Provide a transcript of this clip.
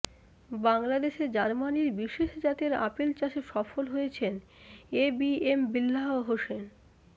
বাংলাদেশে জার্মানির বিশেষ জাতের আপেল চাষে সফল হয়েছেন এবিএম বিল্লাহ হোসেন